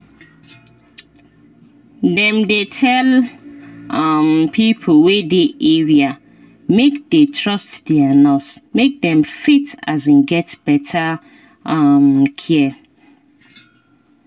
dem dey tell um pipo wey dey area make dey trust their nurse make dem fit um get better um care